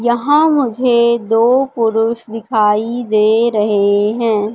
यहां मुझे दो पुरुष दिखाई दे रहे हैं।